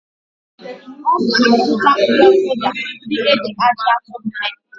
Ọ ga-azụta uwe mwụda ndị e ji ajị aturu mee.